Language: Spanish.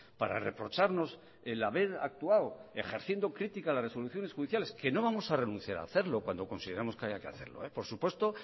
para reprocharnos el haber actuado ejerciendo crítica a las resoluciones judiciales que no vamos a renunciar a hacerlo cuando consideramos que haya que hacerlo por supuesto